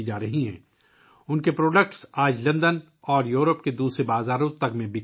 آج ان کی مصنوعات لندن اور یوروپ کے دیگر بازاروں میں فروخت ہو رہی ہیں